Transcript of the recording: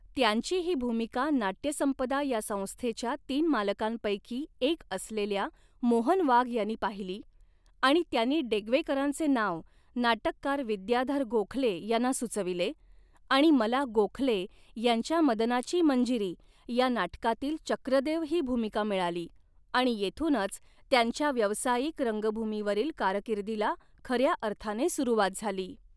त्यांची ही भूमिका नाटयसंपदा या संस्थेच्या तीन मालकांपैकी एक असलेल्या मोहन वाघ यांनी पाहिली आणि त्यांनी डेग्वेकरांचे नाव नाटककार विद्याधर गोखले यांना सुचविले आणि मला गोखले यांच्या मदनाची मंजिरी या नाटकातील चक्रदेव ही भूमिका मिळाली आणि येथूनच त्यांच्या व्यावसायिक रंगभूमीवरील कारकिर्दीला खऱ्या अर्थाने सुरुवात झाली.